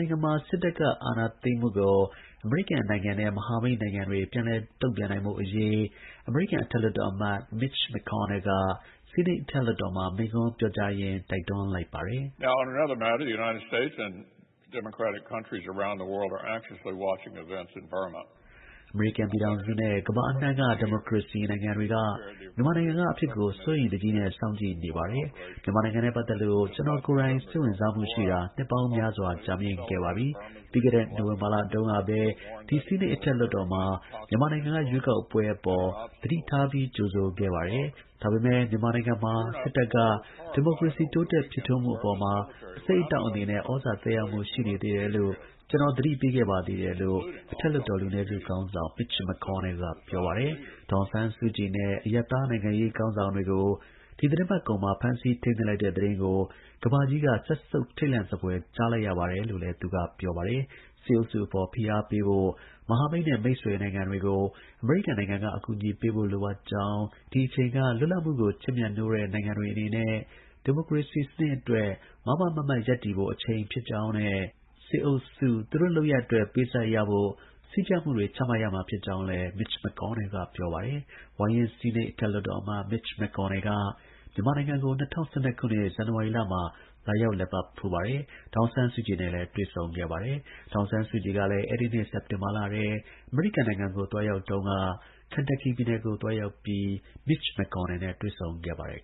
ိုင်ငံမှာ စစ်တပ်က အာဏာသိမ်းမှုကို အမေရိကန်နိုင်ငံနဲ့ မဟာမိတ်နိုင်ငံတွေက ပြန်လည် တုံ့ပြန်ဖို့ အမေရိကန်အထက် လွှတ်တော်အမတ် Mitch McConnell က ဆီးနိတ် အထက်လွှတ်တော်မှာ မိန့်ခွန်းပြောကြားရင်း တိုက်တွန်းလိုက်ပါတယ်။ “အမေရိကန်ပြည်ထောင်စုနဲ့ ကမ္ဘာအနှံ့က ဒီမိုကရေစီနိုင်ငံတွေက မြန်မာနိုင်ငံက အဖြစ်အပျက်တွေကို စိုးရိမ်တကြီးနဲ့ စောင့်ကြည့် နေ ပါတယ်။ မြန်မာနိုင်ငံနဲ့ ပတ်သက်လို့ ကျွန်တော်ကိုယ်တိုင် စိတ်ဝင်တစား ရှိနေတာ နှစ်ပေါင်း များစွာ ကြာမြင့်ခဲ့ပါပြီ။ ပြီးခဲ့တဲ့ နိုဝင်ဘာလတုန်းကပဲ ဒီဆီးနိတ် အထက်လွှတ်တော်မှာ မြန်မာနိုင်ငံက ရွေးကောက်ပွဲအပေါ် သတိထားပြီး ကြိုဆိုခဲ့ပြီး မြန်မာနိုင်ငံမှာ စစ်တပ်က ဒီမို ကရေစီတိုးတက် ဖြစ်ထွန်းမှုအပေါ်မှာ အဆိပ်အတောက်အနေနဲ့ ဩဇာသက်ရောက်မှု ရှိနေသေးတယ်လို့ ကျွန်တော် သတိပေးခဲ့ပါ သေးတယ်” လို့ အထက်လွှတ်တော် လူနည်းစု ခေါင်းဆောင် Mitch McConnell က ပြောပါတယ်။ ဒေါ်အောင်ဆန်းစုကြည်နဲ့ အရပ်သား နိုင်ငံရေး ခေါင်းဆောင်တွေကို ဒီ သီတင်းပတ်ကုန်မှာ ဖမ်းဆီးထိန်းသိမ်းလိုက်တဲ့သတင်းကို ကမ္ဘာကြီးက စက်ဆုပ် ထိတ်လန့်စဖွယ် ကြားလိုက်ရပါတယ်လို့လည်း သူက ပြောပါတယ်။ စစ်အုပ်စု အပေါ် ဖိအားပေးဖို့ မဟာမိတ်နဲ့ မိတ်ဆွေနိုင်ငံတွေကို အမေရိကန်နိုင်ငံက အကူအညီပေးဖို့ လိုအပ်ကြောင်း၊ ဒီ အချိန်က လွတ်လပ်မှုကို ချစ်မြတ်နိုးတဲ့ နိုင်ငံတွေအနေနဲ့ ဒီမိုကရေစီအတွက် မားမားမတ်မတ် ရပ်တည်ဖို့ အချိန်ဖြစ်ကြောင်းနဲ့ စစ်အုပ်စုအနေ နဲ့သူတို့ လုပ်ရပ်အတွက် ပေးဆပ်ရဖို့ စည်းကျပ်မှုတွေ လုပ်ဆောင်ရမှာ ဖြစ်ကြောင်းလည်း McConnellက ပြောပါတယ်။ ဝါရင့် ဆီးနိတ် အထက်လွှတ်တော် အမတ် Mitch McConnell က မြန်မာနိုင်ငံကို ၂၀၁၂ ခုနှစ် ဇန်နဝါရီလမှာ သွားရောက်လည်ပတ် ပြီး ဒေါ်အောင်ဆန်းစုကြည်နဲ့ တွေ့ဆုံခဲ့သလို ဒေါ်အောင်ဆန်းစုကြည်ကလည်း အဲဒီနှစ် စက်တင်ဘာလထဲ အမေရိကန်နိုင်ငံကို လာရောက် တုန်းကလည်း Kentucky ပြည်နယ်ကို သွားရောက်ပြီး Mitch McConnell နဲ့ တွေ့ ဆုံခဲ့ပါတယ်